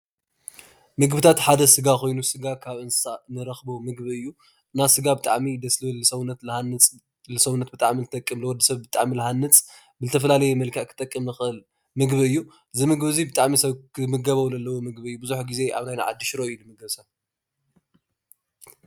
ምግብታት ሓደ ስጋ ኮይኑ ስጋ ካብ እንስሳ ንረኽቦ ምግቢ እዩ። እና ስጋ ብጣዕሚ እዩ ደስ ዝብል ንሰውነት ልሃንፅ፣ ንሰውነት ብጣዕሚ ዝጠቅም፣ ንወድሰብ ብጣዕሚ ልሃንፅ ፣ብዝፈተላለየ መልክዕ ክጠቅም ዝኽእል ምግቢ እዩ። እዚ ምግቢ ዚ ብጣዕሚ ሰብ ክንምገቦ ለለዎ ምግቢ እዩ ብዙሕ ግዜ ኣብ ናይና ዓዲ ሽሮ እዩ ዝምገብ ሰብ ።